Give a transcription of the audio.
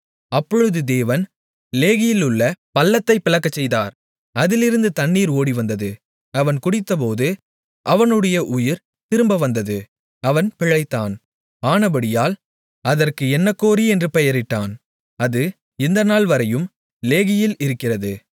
அப்பொழுது தேவன் லேகியிலுள்ள பள்ளத்தைப் பிளக்கச்செய்தார் அதிலிருந்து தண்ணீர் ஓடிவந்தது அவன் குடித்தபோது அவனுடைய உயிர் திரும்ப வந்தது அவன் பிழைத்தான் ஆனபடியால் அதற்கு எந்நக்கோரி என்று பெயரிட்டான் அது இந்த நாள்வரையும் லேகியில் இருக்கிறது